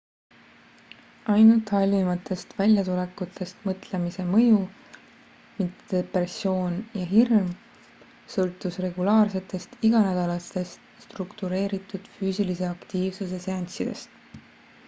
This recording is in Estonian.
ainult halvimatest väljatulekutest mõtlemise mõju mitte depressioon ja hirm sõltus regulaarsetest iganädalastest struktureeritud füüsilise aktiivsuse seanssidest